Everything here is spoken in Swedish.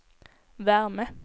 värme